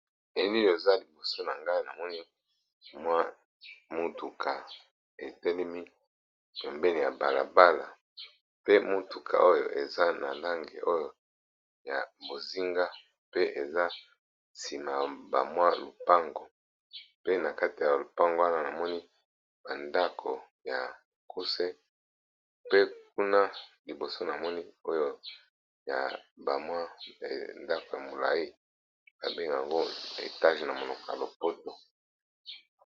Elili eza liboso na ngai na moni mwa mutuka etelemi pembeni ya balabala pe mutuka oyo eza na langi oyo ya bozinga pe eza nsima ya ba mwa lupango pe na kati ya lupango wana na moni ba ndako ya mukuse pe kuna liboso na moni oyo ya ba mwa ndako ya molayi ba benga ngo etage na monoko ya lopoto.